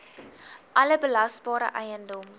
alle belasbare eiendom